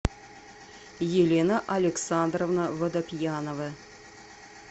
елена александровна водопьянова